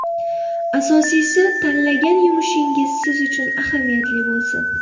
Asosiysi, tanlagan yumushingiz siz uchun ahamiyatli bo‘lsin.